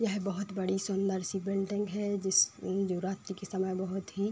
यह बोहोत बड़ी सुंदर-सी बिल्डिंग है जिस रात्री के समय बोहोत ही --